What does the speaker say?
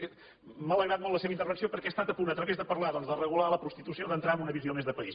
m’ha alegrat molt la seva intervenció perquè ha estat a punt a través de parlar doncs de regular la prostitució d’entrar en una visió més de país